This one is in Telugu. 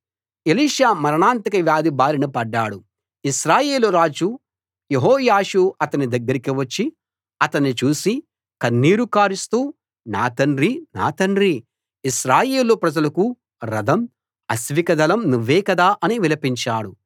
ఎలీషా మరణాంతక వ్యాధి బారిన పడ్డాడు ఇశ్రాయేలు రాజు యెహోయాషు అతని దగ్గరికి వచ్చి అతణ్ణి చూసి కన్నీరు కారుస్తూ నా తండ్రీ నా తండ్రీ ఇశ్రాయేలు ప్రజలకు రథం అశ్వికదళం నువ్వే కదా అని విలపించాడు